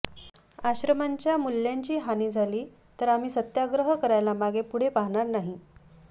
आश्रमांच्या मूल्यांची हानी झाली तर आम्ही सत्याग्रह करायला मागेपुढे पाहणार नाही